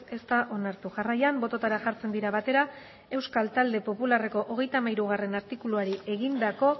ez da onartu jarraian bototara jartzen dira batera euskal talde popularreko hogeita hamairugarrena artikuluari egindako